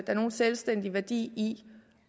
er nogen selvstændig værdi i